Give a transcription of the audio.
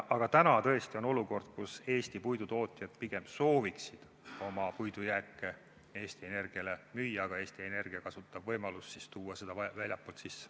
Aga täna on tõesti olukord, kus Eesti puidutootjad pigem sooviksid oma puidujääke Eesti Energiale müüa, aga Eesti Energia kasutab võimalust tuua seda väljastpoolt sisse.